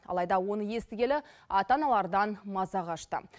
алайда оны естігелі ата аналардан маза қашты